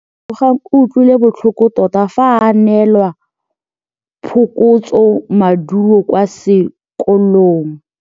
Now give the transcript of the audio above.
Lebogang o utlwile botlhoko tota fa a neelwa phokotsômaduô kwa sekolong.